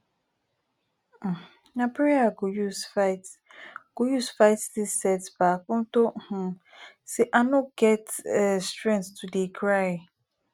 um na prayer i go use fight go use fight dis setback unto um say i no get um strength to dey cry